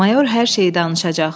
Mayor hər şeyi danışacaq.”